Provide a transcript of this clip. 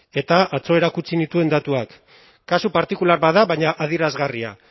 eta atzo erakutsi nituen datuak kasu partikular bat da baina adierazgarria